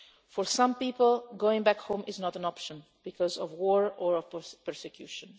For some people going back home is not an option because of war or persecution.